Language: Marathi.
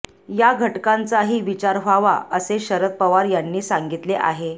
या घटकांचाही विचार व्हावा असेही शरद पवार यांनी सांगितले आहे